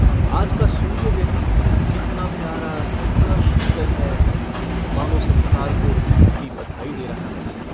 आज का सूर्य देखो कितना प्यारा कितना शीतल है मानो संसार को ईद की बधाई दे रहा है।